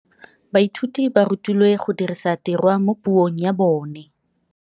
Baithuti ba rutilwe go dirisa tirwa mo puong ya bone.